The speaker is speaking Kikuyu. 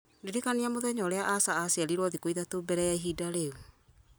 ndirikania mũthenya ũrĩa asha aciarirwo thikũ ithatũ mbere ya ihinda rĩu